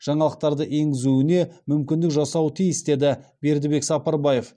жаңалықтарды енгізуіне мүмкіндік жасауы тиіс деді бердібек сапарбаев